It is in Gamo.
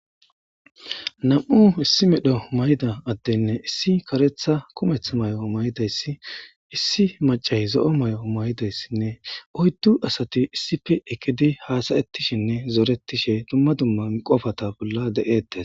Nam7u issi medho mayda addenne issi karetha kumeth may7o maydayssi issi macah zo7o may7o maydayssinne oyddu asati issife ekidi haasayettishinne zoretishe dumma dumman qofata bolla de7eettes